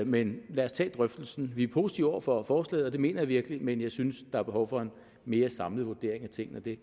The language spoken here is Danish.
men lad os tage drøftelsen vi er positive over for forslaget og det mener jeg virkelig men jeg synes der er behov for en mere samlet vurdering af tingene det